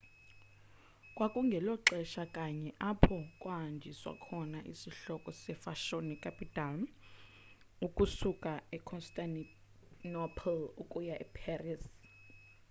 kwakungelo xesha kanye apho kwahanjiswa khona isihloko sefashoni capital ukusuka econstantinople ukuya eparis